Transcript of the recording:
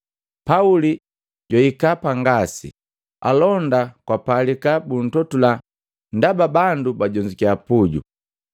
Pauli pajwahika pa ngasi, alonda kwapalika buntotula ndaba bandu bajonzukiya puju.